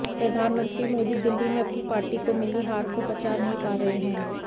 प्रधानमंत्री मोदी दिल्ली में अपनी पार्टी को मिली हार को पचा नहीं पा रहे हैं